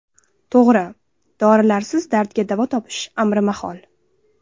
To‘g‘ri, dorilarsiz dardga davo topish amri mahol.